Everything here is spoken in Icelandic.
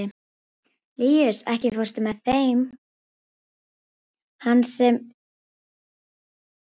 Líus, ekki fórstu með þeim?